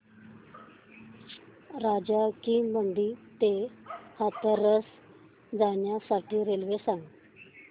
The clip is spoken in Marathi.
राजा की मंडी ते हाथरस जाण्यासाठी रेल्वे सांग